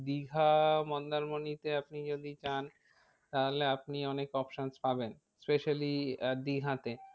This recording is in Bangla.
দীঘা মন্দারমণিতে আপনি যদি যান তাহলে আপনি অনেক options পাবেন। specially আহ দীঘাতে